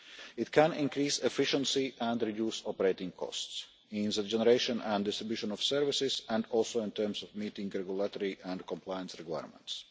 It can increase efficiency and reduce operating costs means of generation and distribution of services and also in terms of meeting regulatory and compliance requirements.